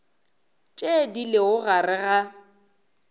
tše di lego gare ga